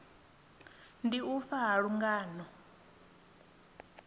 ndi u fa ha lungano